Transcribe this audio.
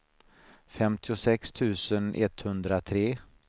femtiosex tusen etthundratre